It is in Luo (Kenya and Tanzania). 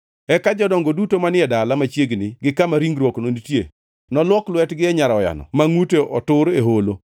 Eka jodongo duto manie dala machiegni gi kama ringruokno nitie noluok lwetgi e nyaroyano ma ngʼute otur e holo,